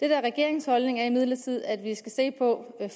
er regeringens holdning er imidlertid at vi skal se på hvad